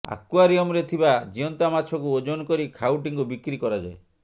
ଆକ୍ୱାରିୟମରେ ଥିବା ଜୀଅନ୍ତା ମାଛକୁ ଓଜନ କରି ଖାଉଟିଙ୍କୁ ବିକ୍ରି କରାଯାଏ